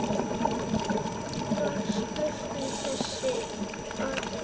Var spurt um þessi atriði.